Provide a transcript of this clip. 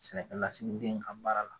Sɛnɛkɛ lasigiden ka baara la.